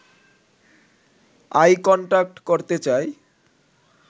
I contact করতে চাই